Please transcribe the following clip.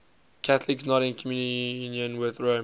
catholics not in communion with rome